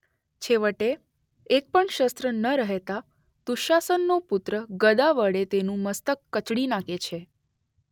છેવટે એક્પણ શસ્ત્ર ન રહેતાં દુશાસનનો પુત્ર ગદા વડે તેનું મસ્તક કચડી નાખે છે.